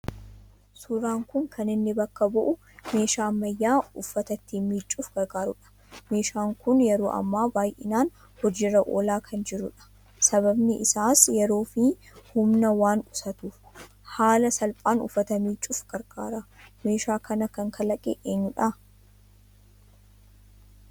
Suuraan kun kan inni bakka bu'u meeshaa ammayyaa uffata ittiin miiccuuf gargaaru dha. Meeshaan kun yeroo ammaa baayyinaan hojiirra oolaa kan jiru dha. Sababiin isaas yeroofi humna waan qusatuuf haala salphaan uffata miiccuuf gargaara. Meeshaa kana kan kalaqe eenyu dha?